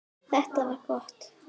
Þetta var gott.